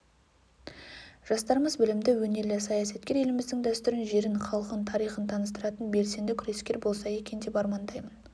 жастарымыз білімді өнерлі саясаткер еліміздің дәстүрін жерін халқын тарихын таныстыратын белсенді күрескер болса екен деп армандаймын